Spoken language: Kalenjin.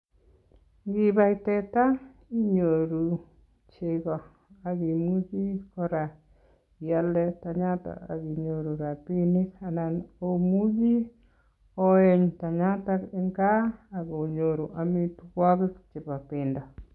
Inibai teta inyoru cheko ak imuchi kora ialde tanyaton ak inyoru rabinik anan omuchi oeny tanyatak en kaa ak inyoru amitwokik chebo bendo.